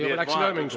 Juba läks lööminguks.